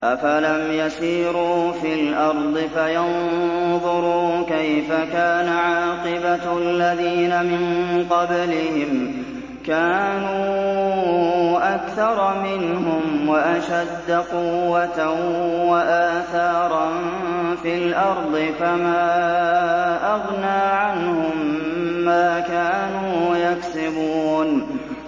أَفَلَمْ يَسِيرُوا فِي الْأَرْضِ فَيَنظُرُوا كَيْفَ كَانَ عَاقِبَةُ الَّذِينَ مِن قَبْلِهِمْ ۚ كَانُوا أَكْثَرَ مِنْهُمْ وَأَشَدَّ قُوَّةً وَآثَارًا فِي الْأَرْضِ فَمَا أَغْنَىٰ عَنْهُم مَّا كَانُوا يَكْسِبُونَ